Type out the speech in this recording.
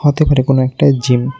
হতে পারে কোনও একটায় জিম ।